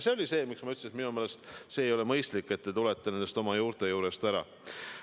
See oli põhjus, miks ma ütlesin, et minu meelest see ei ole mõistlik, et te minu meelest tulete oma juurte juurest ära.